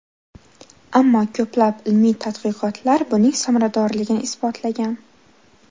Ammo ko‘plab ilmiy tadqiqotlar buning samaradorligini isbotlagan.